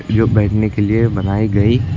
जो बैठने के लिए बनाई गई--